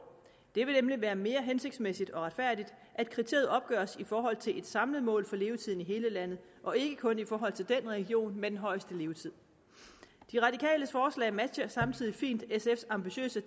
det vil nemlig være mere hensigtsmæssigt og retfærdigt at kriteriet opgøres i forhold til et samlet mål for levetiden i hele landet og ikke kun i forhold til den region med den højeste levetid de radikales forslag matcher samtidig fint sfs ambitiøse